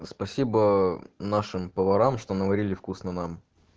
спасибо нашим поварам что наварили вкусно нам